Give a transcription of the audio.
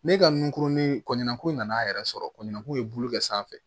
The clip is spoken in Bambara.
Ne ka nunkurunin kɔɲɔnko nana yɛrɛ sɔrɔ kɔɲɔko ye bulu bɛ sanfɛ